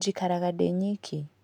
Njikaraga ndĩ nyiki.